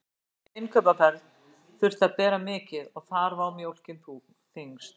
Úr hverri innkaupaferð þurfti að bera mikið og þar vó mjólkin þyngst.